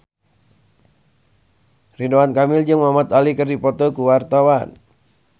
Ridwan Kamil jeung Muhamad Ali keur dipoto ku wartawan